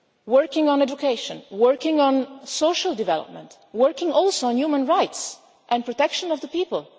working on education, working on social development, working also on human rights and protection of the